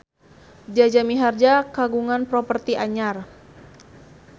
Jaja Mihardja kagungan properti anyar